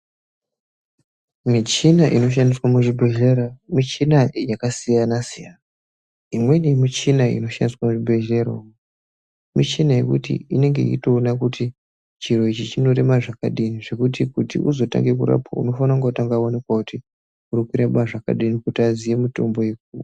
Michina inoshandiswa muzvibhedhlera michina yakasiyana-siyana. Imweni yemichina inoshandiswa muzvibhedhlera umu michina yekuti inenge yeitoona kuti chiro ichi chinorema zvakadini. Zvekuti uzotange kurapwa unofana kunga vavanikwa kuti uri kurema zvakadini kuti aziye mitombo yeku.